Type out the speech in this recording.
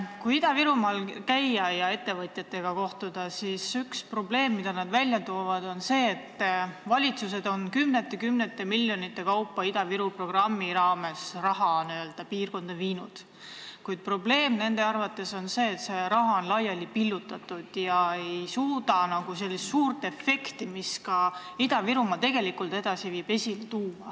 Kui Ida-Virumaal käia ja ettevõtjatega kohtuda, siis üks probleem, mida nad välja toovad, on see, et valitsused on kümnete-kümnete miljonite kaupa Ida-Viru programmi raames raha piirkonda viinud, kuid probleem nende arvates on see, et see raha on laiali pillutatud ega suuda anda sellist suurt efekti, mis Ida-Virumaad tegelikult edasi viiks.